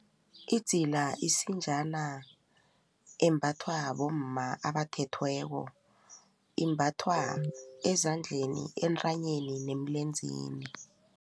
Idzila isinjana embathwa bomma abathethweko, imbathwa ezandleni, entanyeni neemlenzeni.